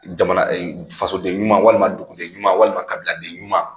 Jamana fasoden ɲuman walima duguden ɲuman walima kabiladen ɲuman